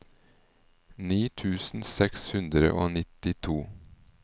ni tusen seks hundre og nittito